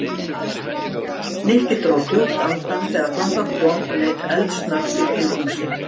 Nikki dró djúpt andann þegar þangað kom og leit eldsnöggt í kringum sig.